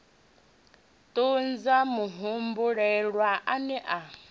thuntsha muhumbulelwa a ne a